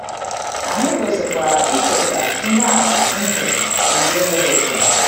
Anyị kwesịkwara icheta ihe atụ ntị nke Rehoboam.